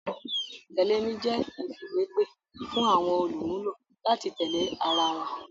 Tẹ̀lé mi jẹ́ ìfìwépè fún àwọn olùmúlò láti tẹ̀lé ara wọn